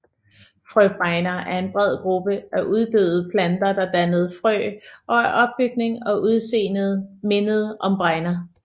Frøbregner er en bred gruppe af uddøde planter der dannede frø og af opbygning og udseende mindede om bregner